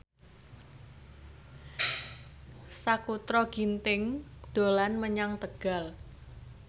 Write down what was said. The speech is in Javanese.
Sakutra Ginting dolan menyang Tegal